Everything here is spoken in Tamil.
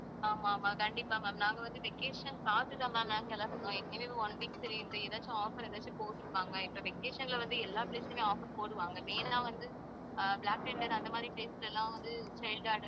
ஆமா, ஆமா கண்டிப்பா ma'am நாங்க வந்து vacation பார்த்துத் தான் ma'am நாங்க கிளம்புனோம் ஏற்கனவே one week சரி இந்த ஏதாச்சும் offer எதாச்சும் போட்டிருப்பாங்க இப்ப vacation ல வந்து எல்லா place உமே offer போடுவாங்க main ஆ வந்து அஹ் பிளாக் தண்டர் அந்த மாதிரி places எல்லாம் வந்து